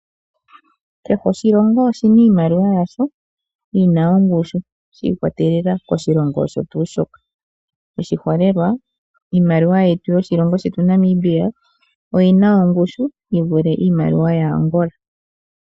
Kehe oshilongo oshina iimaliwa yasho yina ongushu shii kwatelela koshilongo osho tuu shoka oshiholelwa, iimaliwa yetu yoshilongo shetu Namibia oyina ongushu yivule iimaliwa yaAngola.